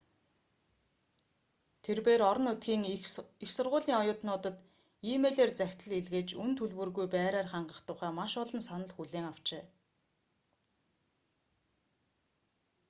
тэрбээр орон нутгийн их сургуулийн оюутнуудад э-мэйлээр захидал илгээж үнэ төлбөргүй байраар хангах тухай маш олон санал хүлээн авчээ